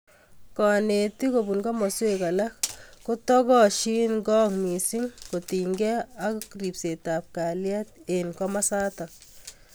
Kanetiikkobun komosweek alak kotokosyini kong' missing kotinygei ako ribseetab kalyet eng komasatak.